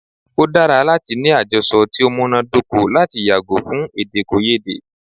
O dára láti ní àjọsọ ti o múná dóko lati yàgò fún èdèkòyédè.